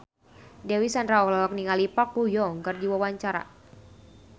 Dewi Sandra olohok ningali Park Bo Yung keur diwawancara